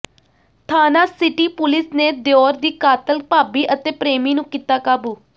ਥਾਣਾ city police ਨੇ ਦਿਓਰ ਦੀ ਕਾਤਲ ਭਾਬੀ ਅਤੇ ਪ੍ਰੇਮੀ ਨੂੰ ਕੀਤਾ ਕਾਬੂ